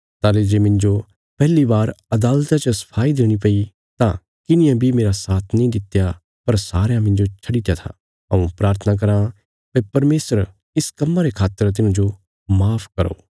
ताहली जे मिन्जो पैहली बार अदालता च सफाई देणी पैई तां किन्हिये बी मेरा साथ नीं दित्या पर सारयां मिन्जो छडित्या था हऊँ प्राथना कराँ भई परमेशर इस कम्मा रे खातर तिन्हांजो माफ करो